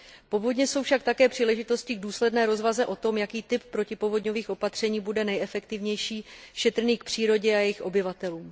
Povodně jsou však také příležitostí k důsledné rozvaze o tom, jaký typ protipovodňových opatření bude nejefektivnější, šetrný k přírodě a obyvatelům.